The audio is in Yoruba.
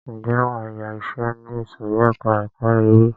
Ǹjẹ́ wàá yá iṣẹ ní ìsòrí ẹka ẹ̀kọ́ eré.